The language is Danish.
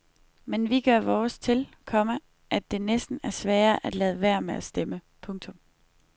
Men vi gør vores til, komma at det næsten er sværere at lade være med at stemme. punktum